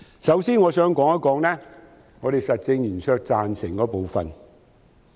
首先，我想談談我們實政圓桌贊成的部分。